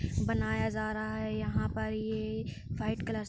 बनाया जा रहा है। यहाँ पर ये व्हाइट कलर से --